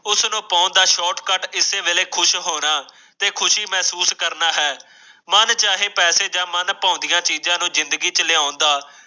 download ਕਰ ਕੇ ਬੜੇ ਖੁਸ਼ ਹੋਏ ਤੇ ਕੁਝ ਮੈਨੂੰ ਕਰਨਾ ਪੈਂਦਾ ਮਨ ਭਾਉਂਦੀਆਂ ਦੀ ਜ਼ਿੰਦਗੀ ਲਿਆਏਗੀ